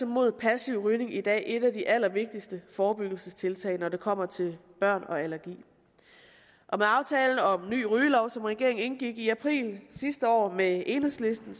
mod passiv rygning i dag et af de allervigtigste forebyggelsestiltag når det kommer til børn og allergi med aftalen om en ny rygelov som regeringen indgik i april sidste år med enhedslisten